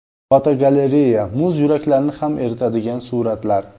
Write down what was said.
Fotogalereya: Muz yuraklarni ham eritadigan suratlar.